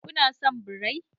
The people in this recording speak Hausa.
Kuna son birai?